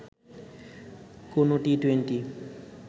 কোনো টি-টোয়েন্টি